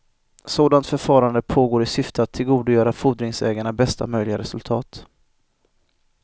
Sådant förfarande pågår i syfte att tillgodogöra fordringsägarna bästa möjliga resultat.